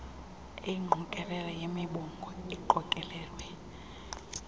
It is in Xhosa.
eyingqokelela yemibongo eqokelelwe